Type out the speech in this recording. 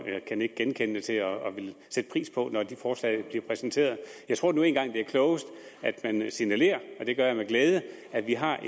kan nikke genkendende til og vil sætte pris på når de forslag bliver præsenteret jeg tror nu en gang det er klogest at man signalerer og det gør jeg med glæde at vi har